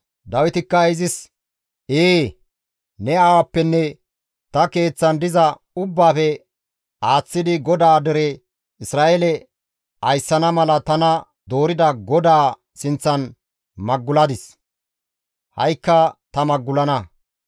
Dawitikka izis, «Ee, ne aawappenne ta keeththan diza ubbaafe aaththidi GODAA dere Isra7eele ayssana mala tana doorida GODAA sinththan maguladis; ha7ikka ta magulana.